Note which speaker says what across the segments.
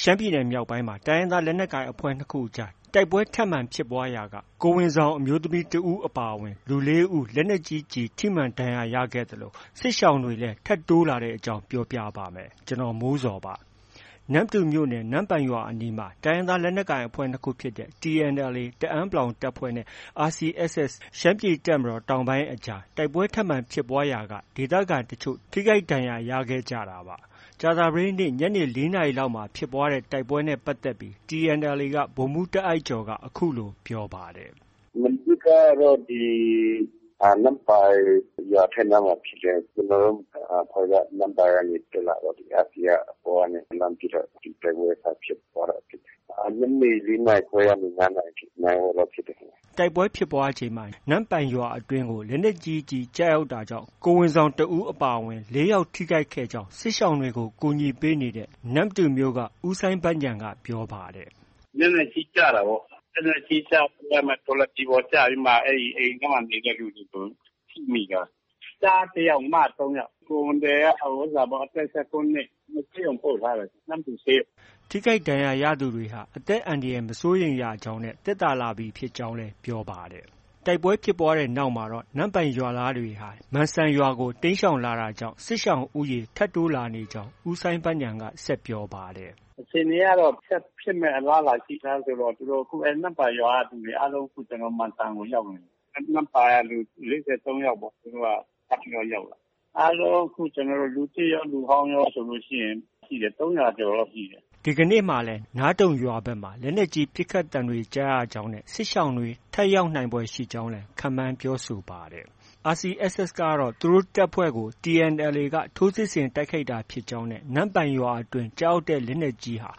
Speaker 1: ရှမ်းပြည်နယ်မြောက်ပိုင်းမှာ တိုင်းရင်းသား လက်နက်ကိုင်အဖွဲ့ ၂ ခုကြား တိုက်ပွဲထပ်မံဖြစ်ပွားရာက ကိုယ်ဝန်ဆောင် အမျိုးသမီး ၁ ဦး အပါအဝင် လူ ၄ ဦး လက်နက်ကြီးကျည် ထိမှန်ဒဏ်ရာရခဲ့သလို စစ်ရှောင်တွေလည်း ထပ်တိုးလာတဲ့အကြောင်း ပြောပြပါမယ်။ ဗွီအိုအေမြန်မာပိုင်း သတင်းထောက် ကိုမိုးဇော်က သတင်းပေးပို့ထားပါတယ်။ နမ္မတူမြို့နယ် နမ့်ပိုင်ရွာအနီး တိုင်းရင်းသား လက်နက်ကိုင်အဖွဲ့ ၂ ခုဖြစ်တဲ့ TNLA တအန်း(ပလောင်)တပ်ဖွဲ့နဲ့ RCSS ရှမ်းပြည်တပ်မတော်တောင်ပိုင်းအကြား တိုက်ပွဲထပ်မံဖြစ်ပွားရာက ဒေသခံတချို့ ထိခိုက်ဒဏ်ရာတွေ ရခဲ့ကြတာပါ။ ကြာသပတေးနေ့ ညနေ ၄ နာရီလောက်မှာ ဖြစ်ပွားခဲ့တဲ့ တိုက်ပွဲနဲ့ ပတ်သက်ပြီး TNLA ဗိုလ်မှူးတာ့အိုက်ကျော်က အခုလို ပြောပါတယ်
Speaker 2: ။ “မနေ့ကတော့ ဒီ နမ့်ပိုင်ရွာအထက်နားမှာဖြစ်တယ်။ ကျနော်တို့ အဖွဲ့က နမ့်ပိုင်ကနေတက်လာတော့ RC က အပေါ်ကနေ လှမ်းပစ်တော့ တိုက်ပွဲစဖြစ်တယ်။ ညနေ ၄ နာရီခွဲကနေ ၅ နာရီထိ နာရီဝက်လောက်ဖြစ်တယ်ဗျ
Speaker 1: ။” တိုက်ပွဲဖြစ်ပွားချိန်မှာ နမ့်ပိုင်ရွာအတွင်းကို လက်နက်ကြီးကျည်ကျရောက်တာကြောင့် ကိုယ်ဝန်ဆောင်တစ်ဦးအပါအဝင် ၄ ယောက် ထိခိုက်ခဲ့ကြောင်း စစ်ရှောင်တွေကို ကူညီပေးနေတဲ့ နမ္မတူမြို့က ဦးစိုင်းဘဉာဏ်က ပြောပါတယ်။
Speaker 2: “လက်နက်ကြီးကျတာပေါ့။ လက်နက်ကြီးကျပြီးမှ ထော်လာဂျီပေါ်ကျပြီးမှာ အိမ်ထဲမှာနေတဲ့လူတွေ အကုန်လုံး ထိမိတာ။ ကျားတစ်ယောက်၊ မ သုံးယောက်။ ကိုယ်ဝန်သည်က အသက် ၁၉ နှစ်။ ဆေးရုံပို့ထားတယ်။ နမ္မတူဆေးရုံ။
Speaker 1: ” ထိခိုက်ဒဏ်ရာရသူတွေဟာ အသက်အန္တရာယ် မစိုးရိမ်ရကြောင်းနဲ့ သက်သာလာပြီဖြစ်ကြောင်းလည်း ပြောပါတယ်။ တိုက်ပွဲဖြစ်ပွားပြီးနောက်မှ နမ့်ပိုင်ရွာသားတွေဟာ မန်စံရွာကို တိမ်းရှောင်လာတာကြောင့် စစ်ရှောင်ဦးရေ ထပ်တိုးလာနေကြောင်း ဦးစိုင်းဘဉာဏ်က ဆက်ပြောပါတယ်။ “
Speaker 2: အခြေအနေကတော့ ဆက်ဖြစ်မယ့် အလားအလာရှိတာဆိုတော့ သူတို့ နမ့်ပိုင်ရွာက လူတွေအားလုံး ကျနော်တို့ မန်စံကို ရောက်နေပြီ။ နမ့်ပိုင်က လူ ၄၃ ယောက်ပေါ့။ သူတို့ ထပ်ပြီးရောက်လာတာ။ အားလုံး အခု လူသစ်ရော၊ လူဟောင်းရောဆိုရင် ၃၀၀ ကျော်လောက်ရှိတယ်
Speaker 1: ။” ဒီကနေ့လည်း နားတုံရွာဘက်မှာ လက်နက်ကြီး ပစ်ခတ်သံတွေကြားရကြောင်းနဲ့ စစ်ရှောင်တွေ ထပ်ရောက်နိုင်ဖွယ်ရှိကြောင်းလည်း ခန့်မှန်းပြောဆိုပါတယ်။ RCSS ကတော့ သူတို့တပ်ဖွဲ့ကို TNLA က ထိုးစစ်ဆင် တိုက်ခိုက်တာဖြစ်ကြောင်း၊ နမ့်ပိုင်ရွာအတွင်း ကျရောက်တဲ့လက်နက်ကြီးဟာ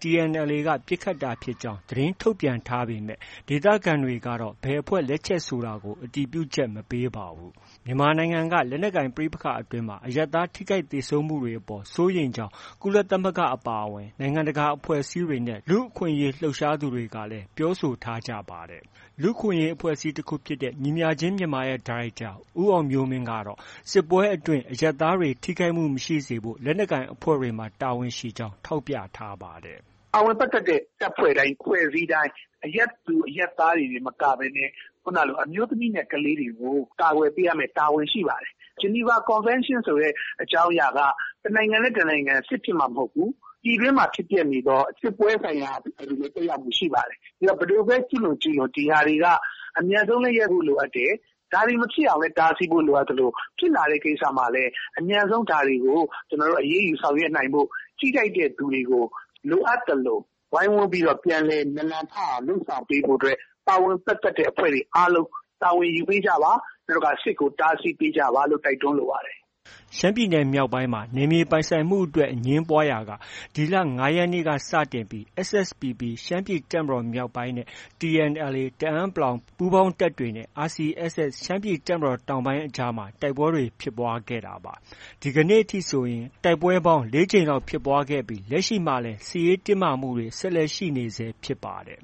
Speaker 1: TNLA က ပစ်ခတ်တာဖြစ်ကြောင်း သတင်းထုတ်ပြန်ထားပေမဲ့ ဒေသခံတွေကတော့ ဘယ်အဖွဲ့ လက်ချက်ဆိုတာကို အတည်ပြုချက် မပေးပါဘူး။ မြန်မာနိုင်ငံက လက်နက်ကိုင် ပဋိပက္ခတွေအတွင်း အရပ်သားထိခိုက်သေဆုံးမှုတွေအပေါ် စိုးရိမ်ကြောင်း ကုလသမဂ္ဂ အပါအဝင် နိုင်ငံတကာ အဖွဲ့အစည်းတွေနဲ့ လူ့အခွင့်အရေးလှုပ်ရှားသူတွေကလည်း ပြောဆိုထားကြပါတယ်။ လူ့အခွင့်အရေးအဖွဲ့အစည်း တစ်ခုဖြစ်တဲ့ ညီမျှခြင်းမြန်မာရဲ့ ဒါရိုက်တာ ဦးအောင်မျိုးမင်းကတော့ စစ်ပွဲအတွင်းမှာ အရပ်သားတွေကို ထိခိုက်မှုမရှိစေဖို့ လက်နက်ကိုင်အဖွဲ့တွေမှာ တာဝန်ရှိကြောင်း ထောက်ပြထားပါတယ်။
Speaker 2: “ပါဝင်ပတ်သက်တဲ့ တပ်ဖွဲ့တိုင်း၊အဖွဲ့အစည်းတိုင်း အရပ်သူ၊ အရပ်သားတွေတင်မကဘဲနဲ့ ခုဏကလို အမျိုးသမီးနဲ့ ကလေးတွေကို ကာကွယ်ပေးရမယ့် တာဝန်ရှိပါတယ်။ ဂျနီဗာကွန်ဗင်းရှင်းဆိုတဲ့အကြောင်းအရာက တစ်နိုင်ငံနဲ့ တစ်နိုင်ငံ စစ်ဖြစ်မှ မဟုတ်ဘူး။ ပြည်တွင်းမှာဖြစ်ပျက်နေတဲ့ စစ်ပွဲဆိုင်ရာတွေမှာလည်း သက်ရောက်မှုရှိပါတယ်။ ဘယ်သူပဲ ကျူးလွန်ကျူးလွန် ဒီဟာတွေက အမြန်ဆုံးလည်း ရပ်ဖို့ လိုအပ်တယ်။ ဒါတွေမဖြစ်အောင်လည်း တားဖို့ လိုအပ်သလို ဖြစ်လာတဲ့ ကိစ္စမှာလည်း အမြန်ဆုံး အရေးယူဆောင်ရွက်နိုင်ဖို့။ ထိခိုက်တဲ့သူတွေကို လိုအပ်သလို ဝိုင်းဝန်းပြီးတော့ ပြန်လည်နာလံထအောင်လုပ်ဆောင်ပေးဖို့အတွက် ပါဝင်ပတ်သက်တဲ့ အဖွဲ့တွေအားလုံး တာဝန်ယူပေးကြပါ။ နောက် စစ်ကို တားဆီးပေးကြပါလို့ တိုက်တွန်းလိုပါတယ်။
Speaker 1: ” ရှမ်းပြည်နယ်မြောက်ပိုင်းမှာ နယ်မြေပိုင်ဆိုင်မှုအတွက် အငြင်းပွားရာက ဒီလ ၅ ရက်နေ့က စတင်ပြီး SSPP ရှမ်းပြည်တပ်မတော်မြောက်ပိုင်းနဲ့ TNLA တအန်း(ပလောင်) ပူးပေါင်းတပ်တွေနဲ့ RCSS ရှမ်းပြည်တပ်မတော်တောင်ပိုင်းအကြား တိုက်ပွဲတွေ ဖြစ်ပွားခဲ့တာပါ။ ဒီကနေ့အထိဆိုရင် တိုက်ပွဲပေါင်း ၄ ကြိမ်လောက်ဖြစ်ပွားခဲ့ပြီး လက်ရှိမှာလည်း စစ်ရေးတင်းမာမှုတွေ ဆက်ရှိနေဆဲဖြစ်ပါတယ်